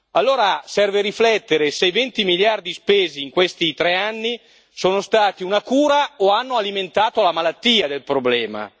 Allora serve riflettere se i 20 miliardi spesi in questi tre anni sono stati una cura o hanno alimentato la malattia del problema.